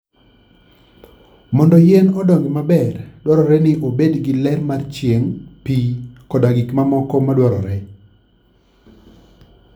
Mondo yien odongi maber, dwarore ni obed gi ler mar chieng', pi, koda gik mamoko madwarore.